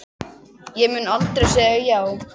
Ég mun aldrei segja já.